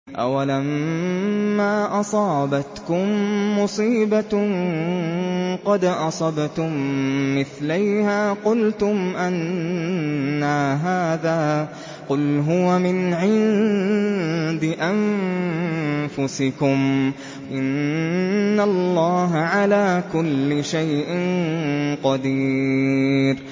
أَوَلَمَّا أَصَابَتْكُم مُّصِيبَةٌ قَدْ أَصَبْتُم مِّثْلَيْهَا قُلْتُمْ أَنَّىٰ هَٰذَا ۖ قُلْ هُوَ مِنْ عِندِ أَنفُسِكُمْ ۗ إِنَّ اللَّهَ عَلَىٰ كُلِّ شَيْءٍ قَدِيرٌ